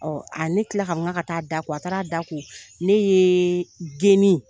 Ɔ ne kila la ka fɔ k'a ka taa da ko a taara da ko ne ye geni